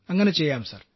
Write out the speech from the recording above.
അങ്ങനെ ചെയ്യാം സർ